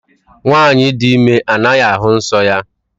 Nwaanyị dị ime anaghị ahụ nsọ ya.